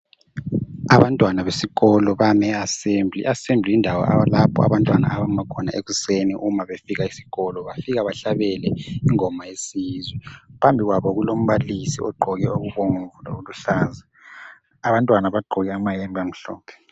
Abantwana besikolo bami e assemble. I asemble yindawo lapho abantwana abama khona ekuseni uma befika esikolo. Bafika behlabele ingoma yesizwe,. Phambi kwabo kulombalisi ogqoke okubomvu lokuluhlaza. Abantwana bagqoke amayembe amhlophe.